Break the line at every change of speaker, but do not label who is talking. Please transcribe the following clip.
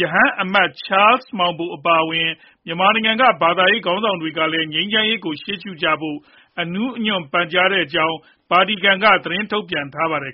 ရဟန်းအမတ် ချားလ်စ်မောင်ဘို အပါအဝင် မြန်မာနိုင်ငံက ဘာသာရေး ခေါင်းဆောင်တွေကလည်း ငြိမ်းချမ်းရေးကို ရှေ့ရှုကြဖို့ အနူးအညွတ်ပန်ကြားနေတဲ့အကြောင်း ဗာတီကန်က သတင်းထုတ်ပြန်ထားပါတယ်